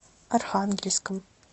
архангельском